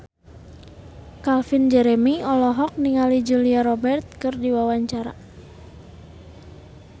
Calvin Jeremy olohok ningali Julia Robert keur diwawancara